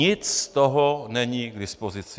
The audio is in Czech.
Nic z toho není k dispozici.